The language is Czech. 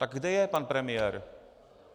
Tak kde je pan premiér?